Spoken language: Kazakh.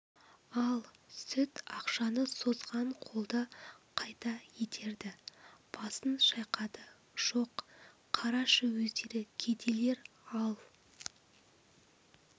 ал сүт ақшаны созған қолды қайта итерді басын шайқады жоқ қарашы өздері кедейлер ал